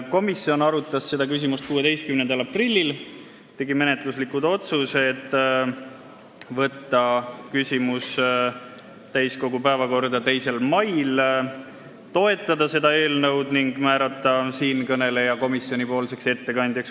Komisjon arutas seda küsimust 16. aprillil ning tegi menetluslikud otsused võtta küsimus täiskogu päevakorda 2. mail, toetada seda eelnõu ning määrata siinkõneleja komisjoni ettekandjaks.